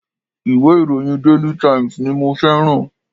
Ìwé ìròyìn daily times ni mo feran